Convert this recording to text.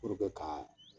ka